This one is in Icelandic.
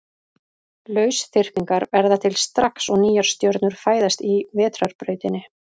Lausþyrpingar verða til strax og nýjar stjörnur fæðast í Vetrarbrautinni.